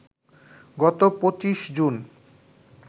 গত ২৫ জুন